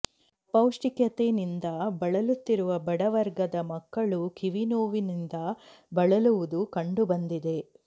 ಅಪೌಷ್ಟಿಕತೆನಿಂದ ಬಳಲುತ್ತಿರುವ ಬಡವರ್ಗದ ಮಕ್ಕಳು ಕಿವಿ ನೋವಿನಿಂದ ಬಳಲುವುದು ಕಂಡು ಬಂದಿದೆ